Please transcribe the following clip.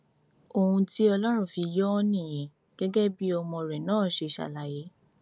ohun tí ọlọrun fi yọ ọ nìyẹn gẹgẹ bí ọmọ rẹ náà ṣe ṣàlàyé